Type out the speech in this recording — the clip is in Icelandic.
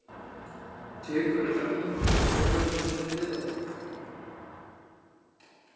Tekur erlendur þjálfari við Breiðabliki?